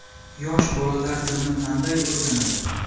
Yosh bolalar tilni qanday o‘rganadi?